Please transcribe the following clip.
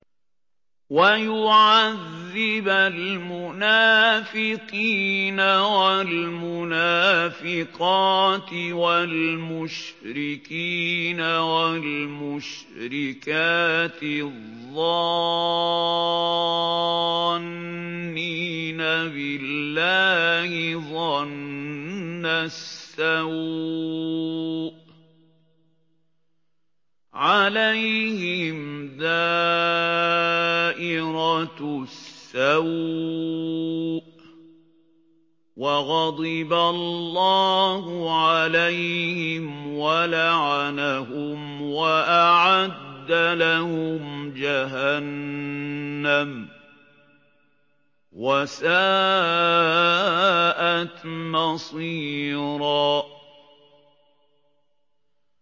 وَيُعَذِّبَ الْمُنَافِقِينَ وَالْمُنَافِقَاتِ وَالْمُشْرِكِينَ وَالْمُشْرِكَاتِ الظَّانِّينَ بِاللَّهِ ظَنَّ السَّوْءِ ۚ عَلَيْهِمْ دَائِرَةُ السَّوْءِ ۖ وَغَضِبَ اللَّهُ عَلَيْهِمْ وَلَعَنَهُمْ وَأَعَدَّ لَهُمْ جَهَنَّمَ ۖ وَسَاءَتْ مَصِيرًا